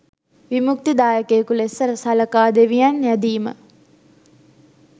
විමුක්තිදායකයකු ලෙස සලකා දෙවියන් යැදීම,